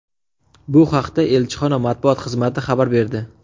Bu haqda elchixona matbuot xizmati xabar berdi .